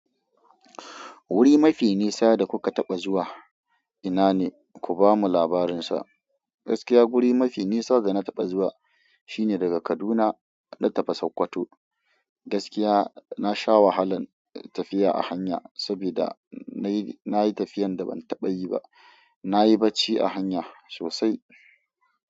Wuri mafi nisa da kuka taɓa zuwa ina ne? Ku bamu labarin sa. Gaskiya guri mafi nisa da na taɓa zuwa shine daga Kaduna na tafi Sokoto. Gaskiya na sha wahalan tafiya a hanya saboda na yi, na yi tafiyan da ban taɓa yi ba. Na yi bacci a hanya sosai.